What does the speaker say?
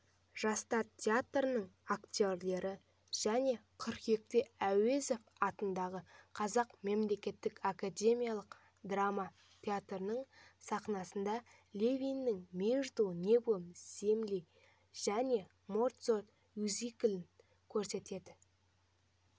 жастар театрының актерлері және қыркүйекте әуезов атындағы қазақ мемлекеттік академиялық драма театрының сахнасында левидің между небом землей және моцарт мюзиклін көрсетеді